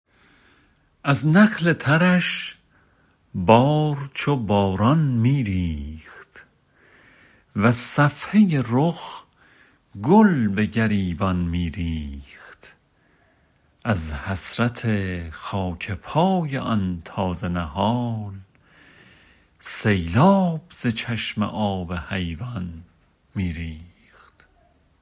از نخل ترش بار چو باران می ریخت وز صفحه رخ گل به گریبان می ریخت از حسرت خاک پای آن تازه نهال سیلاب ز چشم آب حیوان می ریخت